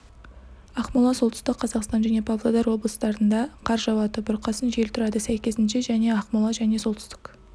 ақмола солтүстік қазақстан және павлодар облыстарында қар жауады бұрқасын жел тұрады сәйкесінше және ақмола және солтүстік